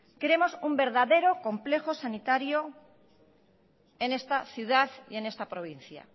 queremos un verdadero complejo sanitario en esta ciudad y en esta provincia